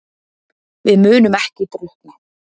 Við munum ekki drukkna